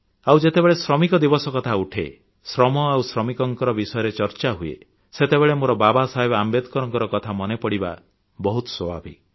ଆଉ ଯେତେବେଳେ ଶ୍ରମିକ ଦିବସ କଥା ଉଠେ ଶ୍ରମ ଆଉ ଶ୍ରମିକଙ୍କ ବିଷୟରେ ଚର୍ଚ୍ଚା ହୁଏ ସେତେବେଳେ ମୋର ବାବା ସାହେବ ଆମ୍ବେଦକରଙ୍କ କଥା ମନେପଡ଼ିବା ବହୁତ ସ୍ୱାଭାବିକ